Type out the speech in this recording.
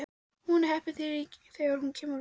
Hún er heppin þegar hún kemur út.